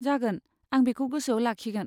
जागोन, आं बेखौ गोसोआव लाखिगोन।